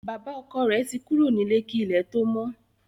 Bàbá ọkọ rẹ̀ to kúrò nílé kí ilẹ̀ tó mọ́